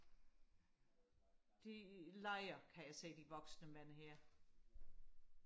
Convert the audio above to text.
de leger kan jeg se de voksne mænd her